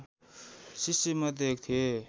शिष्य मध्ये एक थिए